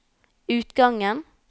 utgangen